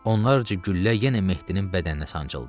Onlarca güllə yenə Mehdinin bədəninə sancıldı.